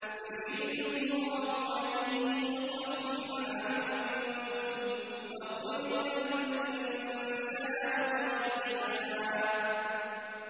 يُرِيدُ اللَّهُ أَن يُخَفِّفَ عَنكُمْ ۚ وَخُلِقَ الْإِنسَانُ ضَعِيفًا